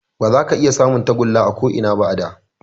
Ba za ka iya samun tagulla a ko Ina ba a da